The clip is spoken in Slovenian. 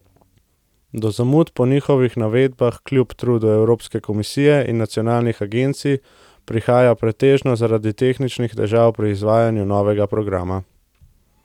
Do zamud po njihovih navedbah kljub trudu Evropske komisije in nacionalnih agencij prihaja pretežno zaradi tehničnih težav pri izvajanju novega programa.